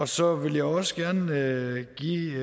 så vil jeg også gerne give